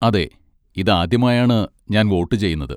അതെ, ഇതാദ്യമായാണ് ഞാൻ വോട്ട് ചെയ്യുന്നത്.